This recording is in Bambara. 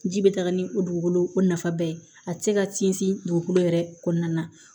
Ji bɛ taga ni o dugukolo o nafaba ye a tɛ se ka sinsin dugukolo yɛrɛ kɔnɔna na